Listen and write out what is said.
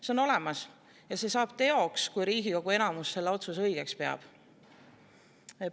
See on olemas ja see saab teoks, kui Riigikogu enamus seda otsust õigeks peab.